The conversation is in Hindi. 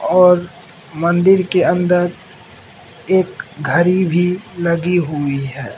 और मंदीर के अंदर एक घड़ी भी लगी हुई है।